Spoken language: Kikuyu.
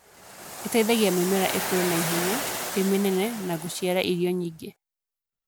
ĩtĩithagia mĩmera ikũre na ihenya, ĩmĩnene, na gũciara irio nyingĩ.